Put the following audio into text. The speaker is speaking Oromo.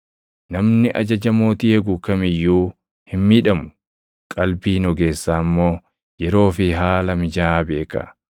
Namni ajaja mootii eegu kam iyyuu hin miidhamu; qalbiin ogeessaa immoo yeroo fi haala mijaaʼaa beeka.